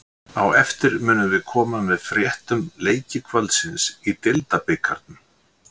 Á eftir munum við koma með frétt um leiki kvöldsins í deildabikarnum.